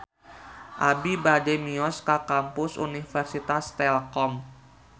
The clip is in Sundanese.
Abi bade mios ka Kampus Universitas Telkom